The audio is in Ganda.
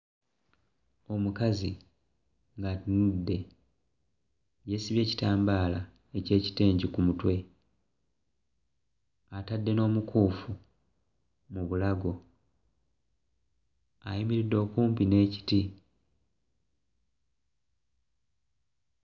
Omukazi ng'atunudde, yeesibye ekitambaala eky'ekitengi ku mutwe, atadde n'omukuufu mu bulago, ayimiridde okumpi n'ekiti.